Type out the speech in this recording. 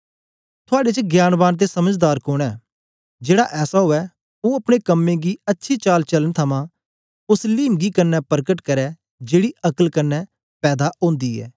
थुआड़े च ज्ञानवान ते समझदार कोन ऐ जेड़ा ऐसा उवै ओ अपने कम्में गी अच्छी चाल चालन थमां ओस लिमगी कन्ने परकट करै जेड़ी अक्ल कन्ने पैदा ओंदी ऐ